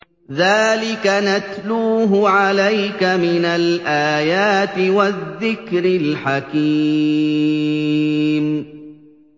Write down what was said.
ذَٰلِكَ نَتْلُوهُ عَلَيْكَ مِنَ الْآيَاتِ وَالذِّكْرِ الْحَكِيمِ